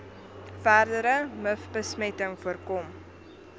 verdere mivbesmetting voorkom